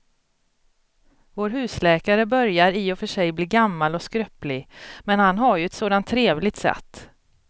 Vår husläkare börjar i och för sig bli gammal och skröplig, men han har ju ett sådant trevligt sätt!